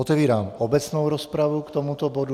Otevírám obecnou rozpravu k tomuto bodu.